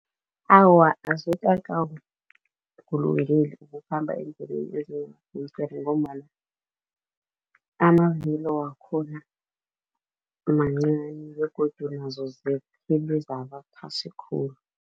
Awa, azikakulungeli ukukhamba eendleleni ngombana amavilo wakhona mancani begodu nazo zaba phasi khulu.